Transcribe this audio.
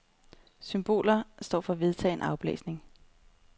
Symboler står for en vedtagen aflæsning.